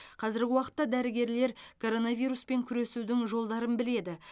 қазіргі уақытта дәрігерлер коронавируспен күресудің жолдарын біледі